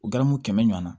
U garamu kɛmɛ ɲɔana